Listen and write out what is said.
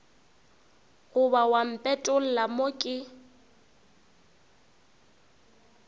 goba wa mpetolla mo ke